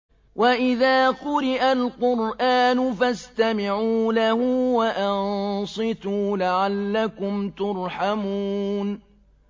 وَإِذَا قُرِئَ الْقُرْآنُ فَاسْتَمِعُوا لَهُ وَأَنصِتُوا لَعَلَّكُمْ تُرْحَمُونَ